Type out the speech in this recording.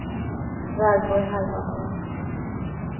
Valborg Halvarsson